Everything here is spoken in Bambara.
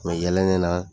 Mɛ yɛlɛnna